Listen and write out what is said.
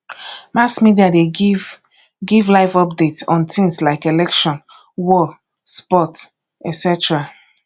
mass media de give give live update on things like election war sports etc